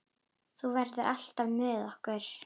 Þú verður alltaf með okkur.